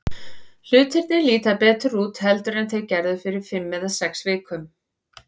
Hlutirnir líta betur út heldur en þeir gerðu fyrir fimm eða sex vikum.